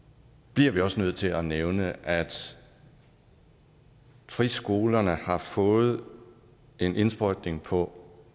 bliver vi også nødt til at nævne at friskolerne har fået en indsprøjtning på